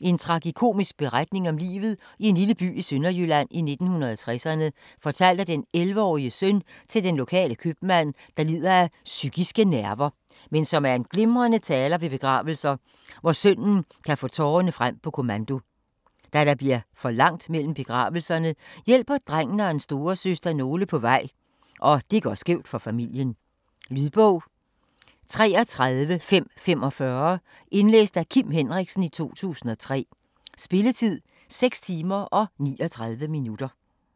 En tragikomisk beretning om livet i en lille by i Sønderjylland i 1960'erne, fortalt af den 11-årige søn til den lokale købmand, der lider af "psykiske nerver", men er en glimrende taler ved begravelser, hvor sønnen kan få tårerne frem på kommando. Da der bliver for langt mellem begravelserne, hjælper drengen og hans storesøster nogle på vej, og det går skævt for familien. Lydbog 33545 Indlæst af Kim Henriksen, 2003. Spilletid: 6 timer, 39 minutter.